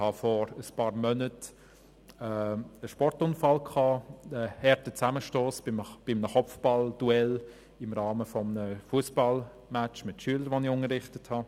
Vor einigen Monaten hatte ich einen Sportunfall, einen harten Zusammenstoss bei einem Kopfballduell im Rahmen eines Fussballmatches mit Schülern, die ich unterrichtet hatte.